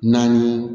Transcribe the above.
Naani